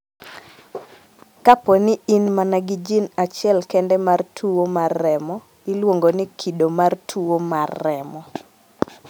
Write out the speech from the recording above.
Kapo ni in mana gi jin achiel kende mar tuwo mar remo, iluongo ni kido mar tuwo mar remo.